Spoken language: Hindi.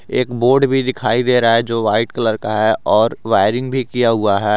एक बोर्ड भी दिखाई दे रहा है जो वाइट कलर का है और वायरिंग भी किया हुआ है।